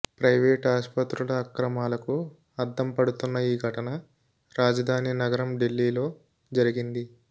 private ఆసుపత్రుల అక్రమాలకు అద్దం పడుతున్న ఈ ఘటన రాజధాని నగరం ఢిల్లీలో జరిగింది